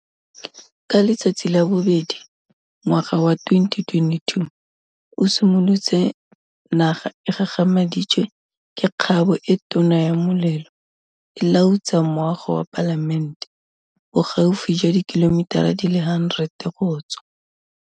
Ka letsatsi la bobedi ngwaga wa 2022 o simolotse naga e gagamaditswe ke kgabo e tona ya molelo e lautsa moago wa Palamente, bogaufi jwa dikilomitara di le 100 go tswa.